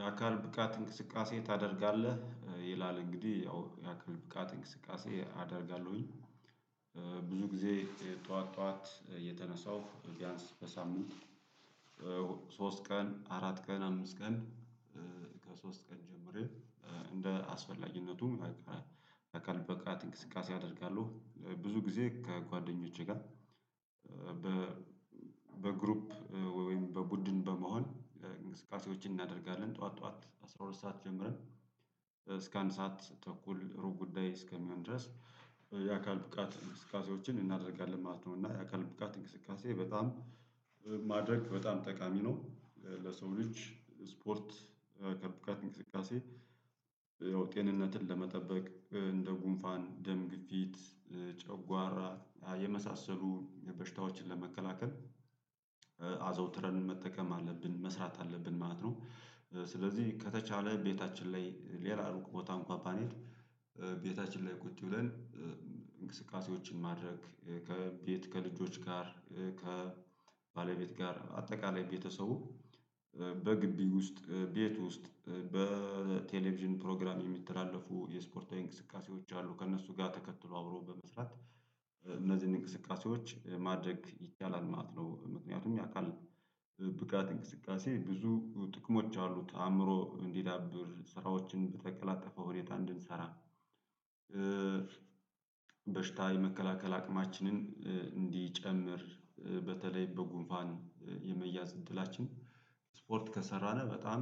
የአካል ብቃት እንቅስቃሴ ታደርጋለህ ይላል እንግዲህ ያው የአካል ብቃት እንቅስቃሴ አደርጋለሁኝ። ብዙ ጊዜ ጠዋት ጠዋት እየተነሳው ቢያንስ በሳምንት ሶስት ቀን አራት ቀን አምስት ቀን። ከሶስት ቀን ጀምሬ። እንደ አስፈላጊነቱም አካል ብቃት እንቅስቃሴ አደርጋለሁ ብዙ ጊዜ ከጓደኞቼ ጋር። በግሩፕ ወይም በቡድን በመሆን እንቅስቃሴዎችን እናደርጋለን ጠዋት ጠዋት አስራ ሁለት ሰዓት ጀምረን እስከ አንድ ሰዓት ተኩል ሩብ ጉዳይ እስከሚሆን ድረስ የአካል ብቃት እንቅስቃሴዎችን እናደርጋለን ማለት ነው። እና የአካል ብቃት እንቅስቃሴ በጣም ማድረግ በጣም ጠቃሚ ነው። ለሰው ልጅ ስፖርት ከብቃት እንቅስቃሴ ያው ጤንነትን ለመጠበቅ እንደ ጉንፋን ደም ግፊት ጨጓራ የመሳሰሉ በሽታዎችን ለመከላከል። አዘውትረን መጠቀም አለብን መስራት አለብን ማለት ነው። ስለዚህ ከተቻለ ቤታችን ላይ ሌላ ሩቅ ቦታም እንኳን ባንሄድ ቤታችን ላይ ቁጭ ብለን። እንቅስቃሴዎችን ማድረግ ከቤት ከልጆች ጋር ከባለቤት ጋር አጠቃላይ ቤተሰቡ በግቢ ውስጥ ቤት ውስጥ። በቴሌቪዥን ፕሮግራም የሚተላለፉ የስፖርታዊ እንቅስቃሴዎች አሉ ከእነሱ ጋር ተከትሎ አብሮ በመስራት እነዚህን እንቅስቃሴዎች ማድረግ ይቻላል ማለት ነው። ምክንያቱም ያውቃል ብቃት እንቅስቃሴ ብዙ ጥቅሞች አሉት አእምሮ እንዲዳብር ስራዎችን በተቀላጠፈ ሁኔታ እንድንሰራ። በሽታ የመከላከል አቅማችንን እንዲጨምር በተለይ በጉንፋን የመያዝ እድላችን ስፖርት ከሰራነ በጣም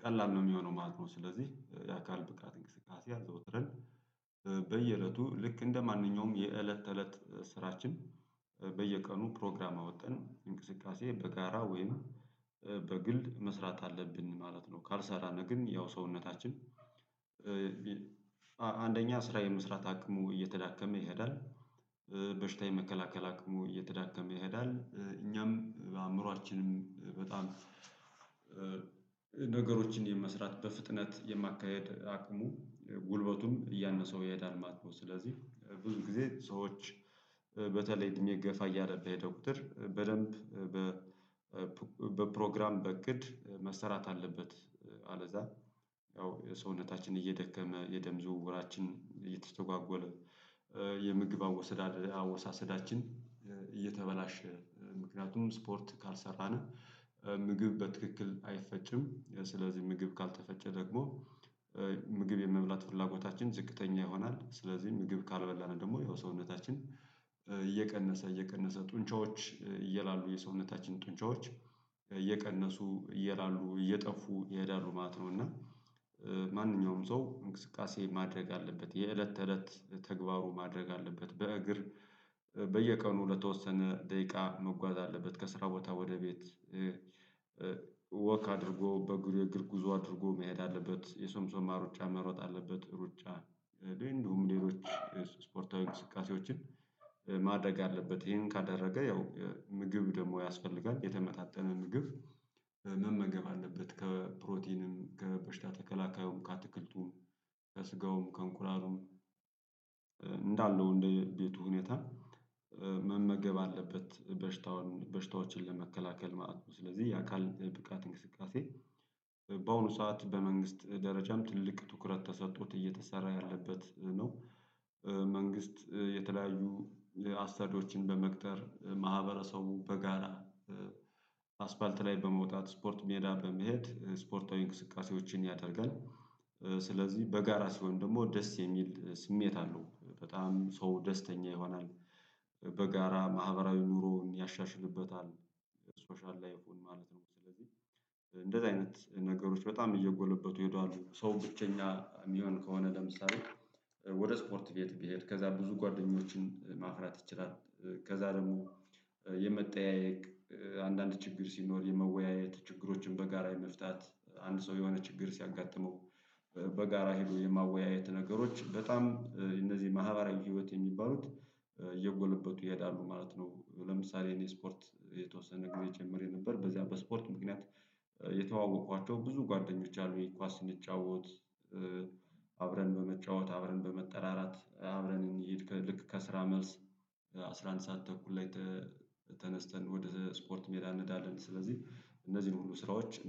ቀላል ነው የሚሆነው ማለት ነው። ስለዚህ የአካል ብቃት እንቅስቃሴ አዘውትረን በየእለቱ ልክ እንደማንኛውም የእለት ተእለት ስራችን በየቀኑ ፕሮግራም አውጠን እንቅስቃሴ በጋራ ወይም በግል መስራት አለብን ማለት ነው። ካልሰራን ግን ያው ሰውነታችን አንደኛ ስራ የመስራት አቅሙ እየተዳከመ ይሄዳል። በሽታ የመከላከል አቅሙ እየተዳከመ ይሄዳል እኛም በአእምሮአችንም በጣም ነገሮችን የመስራት በፍጥነት የማካሄድ አቅሙ ጉልበቱም እያነሰው ይሄዳል ማለት ነው። ስለዚህ ብዙ ጊዜ ሰዎች በተለይ እድሜ ገፋ እያለ በሄደ ቁጥር በደንብ በፕሮግራም በእቅድ መሰራት አለበት። አለዛ ያው የሰውነታችን እየደከመ የደም ዝውውራችን እየተስተጓጎለ። የምግብ አወሳሰዳችን እየተበላሸ ምክንያቱም ስፖርት ካልሰራን ምግብ በትክክል አይፈጭም። ስለዚህ ምግብ ካልተፈጨ ደግሞ ምግብ የመብላት ፍላጎታችን ዝቅተኛ ይሆናል። ስለዚህ ምግብ ካልበላን ደግሞ ያው ሰውነታችን እየቀነሰ እየቀነሰ ጡንቻዎች እየላሉ የሰውነታችን ጡንቻዎች እየቀነሱ እየላሉ እየጠፉ ይሄዳሉ ማለት ነው። እና ማንኛውም ሰው እንቅስቃሴ ማድረግ አለበት የእለት ተእለት ተግባሩ ማድረግ አለበት። በእግር በየቀኑ ለተወሰነ ደቂቃ መጓዝ አለበት ከስራ ቦታ ወደ ቤት። ወክ አድርጎ በእግር ጉዞ አድርጎ መሄድ አለበት የሶምሶማ ሩጫ መሮጥ አለበት። ሩጫ እንዲሁም ሌሎች ስፖርታዊ እስቃሴዎችን ማድረግ አለበት። ይሄን ካደረገ ያው ምግብ ደግሞ ያስፈልጋል የተመጣጠነ ምግብ መመገብ አለበት። ከፕሮቲንም ከበሽታ ተከላካዩም ከአትክልቱም ከስጋውም ከእንቁላሉም እንዳለው እንደ ቤቱ ሁኔታ መመገብ አለበት በሽታውን በሽታዎችን ለመከላከል ማለት ነው። ስለዚህ የአካል ብቃት እንቅስቃሴ በአሁኑ ሰዓት በመንግስት ደረጃም ትልቅ ትኩረት ተሰጥጦት እየተሰራ ያለበት ነው። መንግስት የተለያዩ አሳዶችን በመቅጠር ማህበረሰቡ በጋራ አስፓልት ላይ በመውጣት ስፖርት ሜዳ በመሄድ ስፖርታዊ እንቅስቃሴዎችን ያደርጋል። ስለዚህ በጋራ ሲሆን ደግሞ ደስ የሚል ስሜት አለው በጣም ሰው ደስተኛ ይሆናል። በጋራ ማህበራዊ ኑሮን ያሻሽልበታል ሶሻል ላይፉን ማለት ነው። ስለዚህ እንደዚህ አይነት ነገሮች በጣም እየጎለበቱ ይሄዳሉ። ሰው ብቸኛ የሚሆን ከሆነ ለምሳሌ ወደ ስፖርት ቤት ቢሄድ ከዛ ብዙ ጓደኞችን ማፍራት ይችላል። ከዛ ደግሞ የመጠያየቅ አንዳንድ ችግር ሲኖር የመወያየት ችግሮችን በጋራ የመፍታት አንድ ሰው የሆነ ችግር ሲያጋጥመው በጋራ ሄዶ የማወያየት ነገሮች በጣም እነዚህ ማህበራዊ ህይወት የሚባሉት እየጎለበቱ ይሄዳሉ ማለት ነው። ለምሳሌ እኔ ስፖርት የተወሰነ ጊዜ ጀምሬ ነበር። በዚያ በስፖርት ምክንያት የተዋወቅኳቸው ብዙ ጓደኞች አሉ። ይሄ ኳስ ስንጫወት። አብረን በመጫወት አብረን በመጠራራት አብረን እንሂድ ከልክ ከስራ መልስ። አስራ አንድ ሰዓት ተኩል ላይ ተነስተን ወደ ስፖርት ሜዳ እንሄዳለን። ስለዚህ እነዚህን ሁሉ ስራዎች